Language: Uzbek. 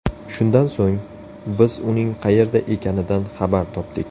Shundan so‘ng, biz uning qayerda ekanidan xabar topdik.